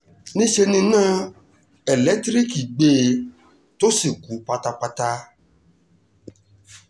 níṣẹ́ ni iná elétíríìkì gbé e tó sì kú pátápátá